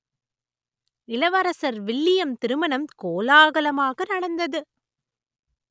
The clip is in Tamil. இளவரசர் வில்லியம் திருமணம் கோலாகலமாக நடந்தது